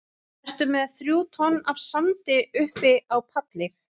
Ertu með þrjú tonn af sandi uppi á palli?